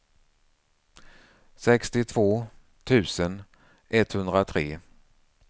sextiotvå tusen etthundratre